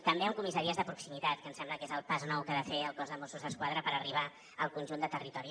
també amb comissaries de proximitat que em sembla que és el pas nou que ha de fer el cos de mossos d’esquadra per arribar al conjunt de territori